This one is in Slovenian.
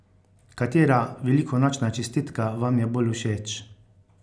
Katera velikonočna čestitka vam je bolj všeč?